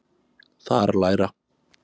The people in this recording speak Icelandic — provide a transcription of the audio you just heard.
Þar læra